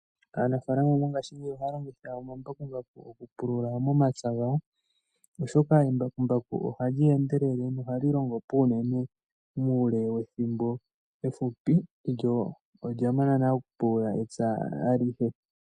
Aanafalama mongashingeyi oha longitha omambakumbaku oku pulula momapya gawo. Oshoka embakumbaku ohali endelele nohali longo puunene uule wethimbo efupi lyo olya mana nale oku pulula epya alihe.